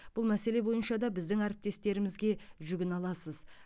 бұл мәселе бойынша да біздің әріптестерімізге жүгіне аласыз